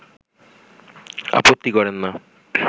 আপত্তি করেন না